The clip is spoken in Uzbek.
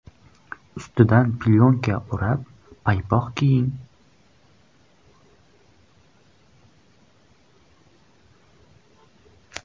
Ustidan plyonka urab paypoq kiying.